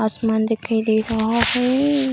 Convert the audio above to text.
आसमान दिखाई दे रहा है।